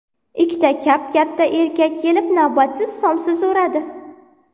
Ikkita kap-katta erkak kelib, navbatsiz somsa so‘radi.